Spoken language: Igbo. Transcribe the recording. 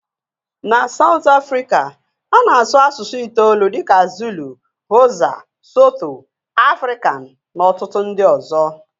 Na Saụt Afrịka a na-asụ asụsụ itoolu dịka Zulu, Xhosa, sotho, Afrikan na ọtụtụ ndị ọzọ.